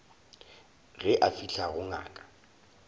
ge a fihla go ngaka